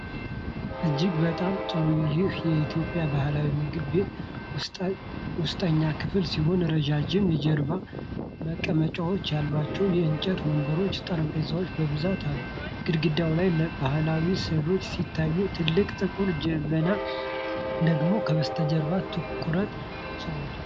እጅግ በጣም ጥሩ! ይህ የኢትዮጵያ ባህላዊ ምግብ ቤት ውስጠኛ ክፍል ሲሆን፣ ረዣዥም የጀርባ መቀመጫዎች ያሏቸው የእንጨት ወንበሮችና ጠረጴዛዎች በብዛት አሉ። ግድግዳው ላይ ባሕላዊ ሥዕሎች ሲታዩ፣ ትልቅ ጥቁር ጀበና ደግሞ ከበስተጀርባ ትኩረት ስቧል።